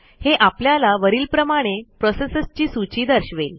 हे आपल्याला वरीलप्रमाणे प्रोसेसेसची सूची दर्शवेल